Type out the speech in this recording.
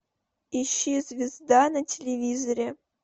ищи звезда на телевизоре